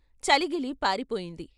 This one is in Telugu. చలీ గిలీ పారిపోయింది.